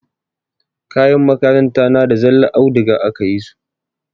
Kayan makaranta na da zallar audiga aka yi su.